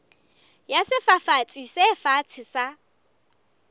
ya sefafatsi se fatshe sa